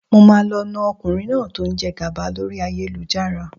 Mo máa lọ na ọkùnrin náà tí ó ń jẹ gàba lórí ayélujára.